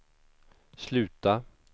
sluta